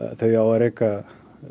þau á að reka